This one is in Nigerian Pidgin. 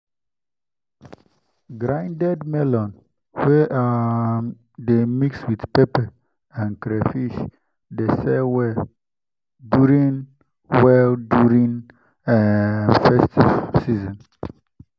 grinded melon wey um dem mix with pepper and crayfish dey sell well during well during um festive season.